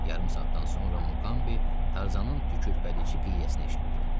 Yarım saatdan sonra Muqambi Tarzanın tükürpədici qışqırtısını eşitdi.